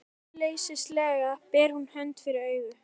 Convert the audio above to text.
Ráðleysislega ber hún hönd fyrir augu.